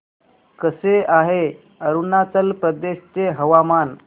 कसे आहे अरुणाचल प्रदेश चे हवामान